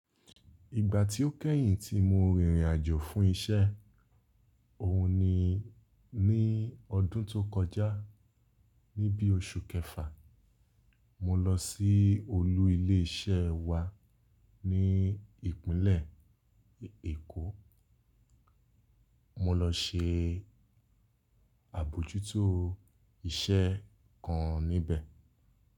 Ìgbà tí ó kẹ́yìn tí mo rìnrìn àjò fún isẹ́ òun ni ní ọdún tó kọjá ní bí oṣù kẹfà. Mo lọ sí olú ilé isẹ́ wa ní ìpínlẹ̀ Èkó. Mo lọ se àbojútó iṣẹ́ kan níbẹ̀.